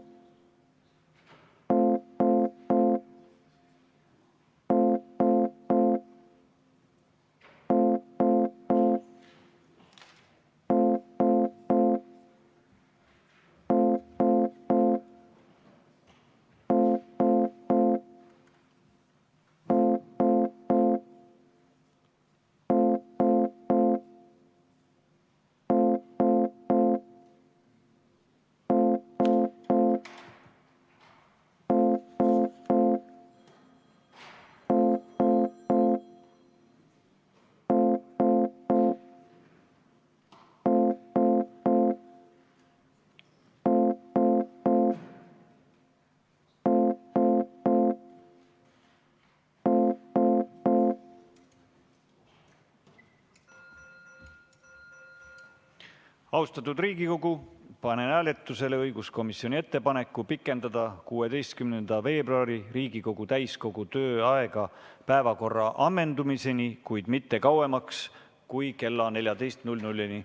Austatud Riigikogu, panen hääletusele õiguskomisjoni ettepaneku pikendada 16. veebruari Riigikogu täiskogu tööaega päevakorra ammendumiseni, kuid mitte kauem kui kella 14‑ni.